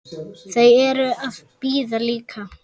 Þau eru að bíða líka.